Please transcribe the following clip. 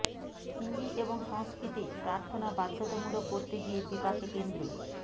হিন্দি এবং সংস্কৃতে প্রার্থনা বাধ্যতামূলক করতে গিয়ে বিপাকে কেন্দ্র